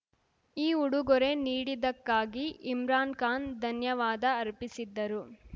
ಈ ಉಡುಗೊರೆ ನೀಡಿದ್ದಕ್ಕಾಗಿ ಇಮ್ರಾನ್‌ ಖಾನ್‌ ಧನ್ಯವಾದ ಅರ್ಪಿಸಿದ್ದರು